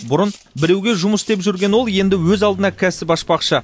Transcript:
бұрын біреуге жұмыс істеп жүрген ол енді өз алдына кәсіп ашпақшы